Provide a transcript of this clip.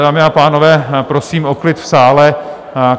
Dámy a pánové, prosím o klid v sále.